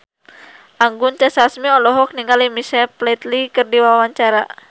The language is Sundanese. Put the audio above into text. Anggun C. Sasmi olohok ningali Michael Flatley keur diwawancara